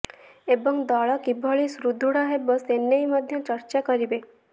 ଏବଂ ଦଳ କିଭଳି ସୁଦୃଢ଼ ହେବ ସେନେଇ ମଧ୍ୟ ଚର୍ଚ୍ଚା କରିବେ